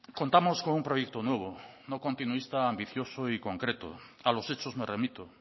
contamos con un proyecto nuevo no continuista ambicioso y concreto a los hechos me remito